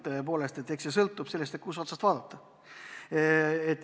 Tõepoolest, see sõltub sellest, kust otsast vaadata.